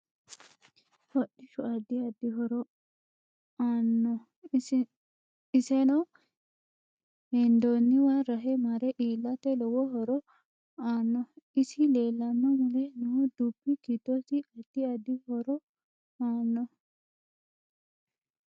Hodhishu addi addi horo aanno isenno hendooniwa rahe mare iilata lowo horo aanno isi leelanno mule noo dubbi giddosi addi addi horo aanno